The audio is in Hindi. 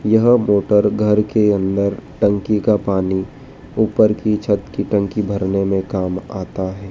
यह मोटर घर के अंदर टंकी का पानी ऊपर की छत की टंकी भरने मे काम आता है।